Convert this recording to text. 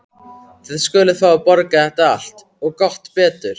Þið skuluð fá að borga þetta allt. og gott betur!